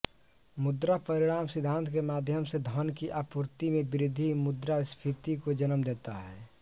मुद्रापरिमाण सिद्धांत के माध्यम से धन की आपूर्ति में वृद्धि मुद्रास्फीति को जन्म देता है